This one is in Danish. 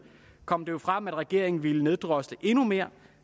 kom det frem at regeringen ville neddrosle endnu mere